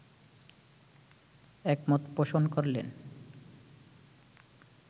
একমত পোষণ করলেন